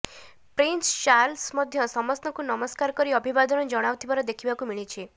prince Charles ମଧ୍ୟ ସମସ୍ତଙ୍କୁ ନମସ୍କାର କରି ଅଭିଭାଦନ ଜଣାଉଥିବାର ଦେଖିବାକୁ ମିଳିଛି